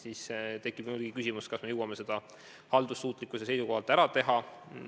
Siis tekib muidugi küsimus, kas me jõuame selle haldussuutlikkuse seisukohalt ära teha.